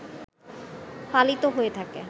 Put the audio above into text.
পালিত হয়ে থাকে